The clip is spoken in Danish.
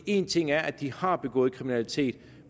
en ting er at de har begået kriminalitet